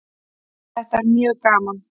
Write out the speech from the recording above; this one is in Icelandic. Þetta er mjög gaman